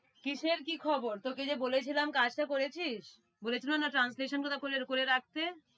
কিসের কি খবর তোকে যে বলেছিলাম কাজটা করেছিস? বলেছিলাম না translation গুলো করে, করে রাখতে